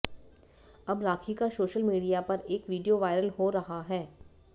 अब राखी का social media पर एक वीडियो वायरल हो रहा है